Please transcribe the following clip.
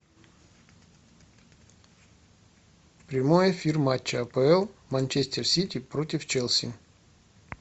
прямой эфир матча апл манчестер сити против челси